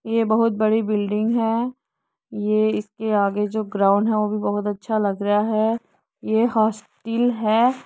ये बहुत बड़ी बिल्डिंग है। ये इसके आगे जो ग्राउन्ड है वो भी बहुत अच्छा लग रहा है। ये हॉस्टल है।